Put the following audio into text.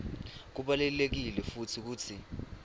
kubalulekile futsi kutsi